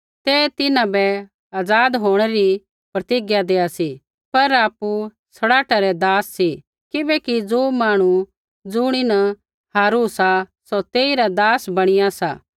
ते तिन्हां बै आज़ाद होंणै री प्रतिज्ञा देआ सी पर आपु सड़ाहटा रै दास सी किबैकि ज़ो मांहणु ज़ुणीन हारू सा सौ तेइरा दास बणिया सा